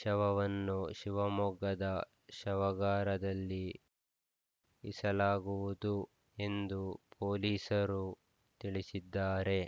ಶವವನ್ನು ಶಿವಮೊಗ್ಗದ ಶವಗಾರದಲ್ಲಿ ಇಸಲಾಗುವುದು ಎಂದು ಪೊಲೀಸರು ತಿಳಿಸಿದ್ದಾರೆ